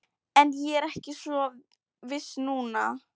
En ég er ekki svo viss núna